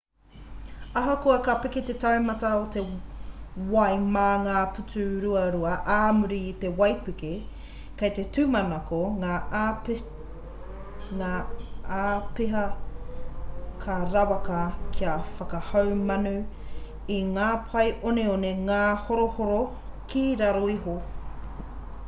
ahakoa ka piki te taumata o te wai mā ngā putu ruarua ā muri i te waipuke kei te tūmanako ngā āpiha ka rawaka kia whakahaumanu i ngā pae oneone ngāhorohoro ki raro iho